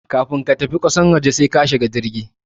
Kafun ka tafi kasan waje sai ka shiga jirgi